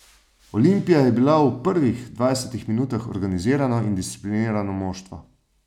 Olimpija je bila v prvih dvajsetih minutah organizirano in disciplinirano moštvo.